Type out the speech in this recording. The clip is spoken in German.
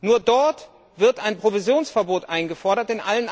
Nur dort wird ein Provisionsverbot eingefordert.